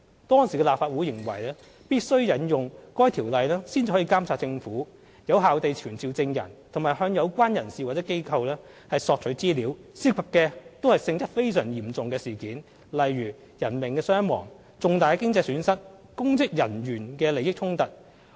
當時的立法會認為必須引用《條例》才能監察政府、有效地傳召證人及向有關人士或機構索取資料，涉及的都是性質非常嚴重的事件，例如人命傷亡、重大經濟損失或公職人員的利益衝突。